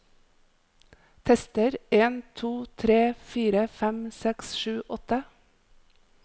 Tester en to tre fire fem seks sju åtte